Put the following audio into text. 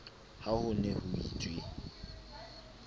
ha ho ne ho itswe